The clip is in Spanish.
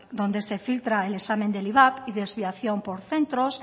donde se filtra el examen del ivap y desviación por centros